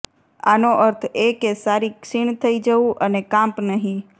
આનો અર્થ એ કે સારી ક્ષીણ થઈ જવું અને કાંપ નહીં